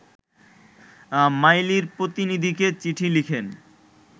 মাইলির প্রতিনিধিকে চিঠি লিখেন